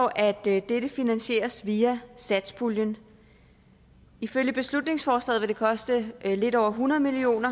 at dette finansieres via satspuljen ifølge beslutningsforslaget vil det koste lidt over hundrede million